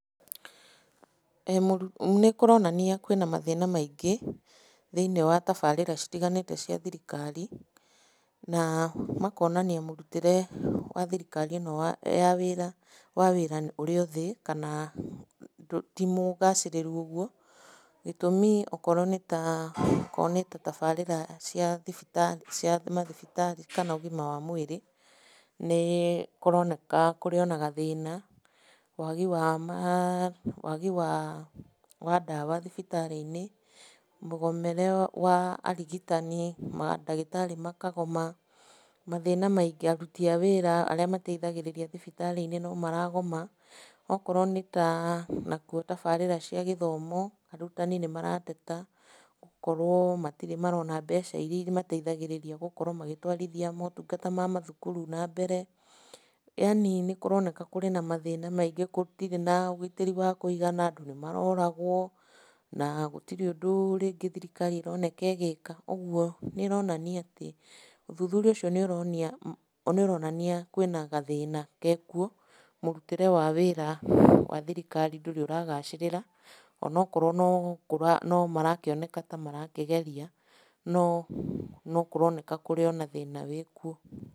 Nĩ kũronania kwĩna mathĩna maingĩ, thĩinĩ wa tabarĩra citiganĩte cia thirikari, na makonania mũritĩre wa thirikari ĩno ya wĩra, wa wĩra ũrĩothĩ, kana timũgacĩrĩru ũguo, gĩtũmĩ okorwo nĩta, okorwo nĩtatabarĩra cia mathibitarĩ, kana ũgima wa mwĩrĩ nĩ kũroneka kũrĩ ona gathĩna. Wagi wa ndawa thibitarĩ-inĩ, mũgomere wa arigitani, mandagĩtarĩ makagoma, mathĩna maingĩ, aruti a wĩra arĩa mateithagĩrĩria thibitarĩ iria nomaragoma, okorwo nĩta tabarĩra cia gĩthomo, arutwo nĩ marateta gũkorwo matirĩ marona mbeca iria imateithagĩrĩria gũkorwo magĩtwarithia motungata ma mathukuru nambere, yaani nĩ kũroneka kũrĩ na mathĩna maingĩ, gũtirĩ na ũgitĩri wa kũigana, andũ nĩmaroragwo, na gũtirĩ ũndũ rĩngĩ thirikari ĩroneka ĩgĩka. Ũguo nĩ ĩronania atĩ, ũthuthuria ũcio nĩ ũronania, kwĩna gathĩna, gekwo, mũrutĩre wa wĩra wa thirikari ndũrĩ ũragacĩrĩra, onakorwo no marakioneka tamarakĩgeria, no kũroneka kurĩ ona thĩna wĩkuo.